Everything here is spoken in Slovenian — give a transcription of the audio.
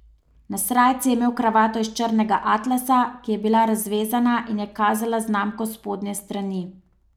Na srajci je imel kravato iz črnega atlasa, ki je bila razvezana in je kazala znamko s spodnje strani.